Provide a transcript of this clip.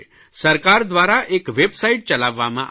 સરકાર દ્વારા એક વેબસાઇટ ચલાવવામાં આવે છે